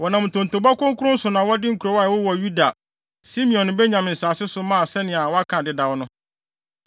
Wɔnam ntontobɔ kronkron so na wɔde nkurow a ɛwowɔ Yuda, Simeon ne Benyamin nsase so mae sɛnea wɔaka dedaw no.